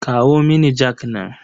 Kawo mini jak nan.